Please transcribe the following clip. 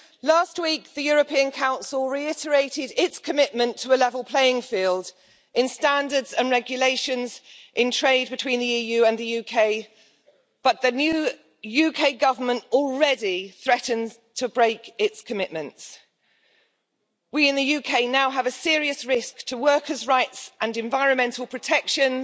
Last week, the European Council reiterated its commitment to a level playing field in standards and regulations in trade between the EU and the UK, but the new UK Government already threatens to break its commitments. We in the UK now have a serious risk to workers' rights and environmental protections,